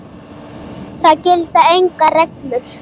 Það gilda engar reglur.